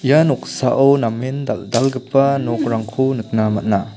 ia noksao namen dal·dalgipa nokrangko nikna man·a.